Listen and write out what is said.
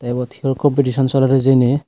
ebot hior kompitison soler hijeni.